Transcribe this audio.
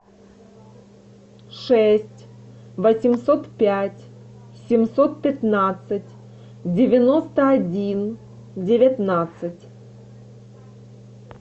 шесть восемьсот пять семьсот пятнадцать девяносто один девятнадцать